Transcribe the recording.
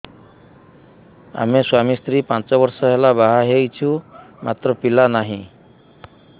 ଆମେ ସ୍ୱାମୀ ସ୍ତ୍ରୀ ପାଞ୍ଚ ବର୍ଷ ହେଲା ବାହା ହେଇଛୁ ମାତ୍ର ପିଲା ନାହିଁ